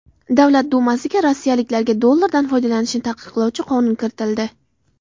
Davlat dumasiga rossiyaliklarga dollardan foydalanishni taqiqlovchi qonun kiritildi.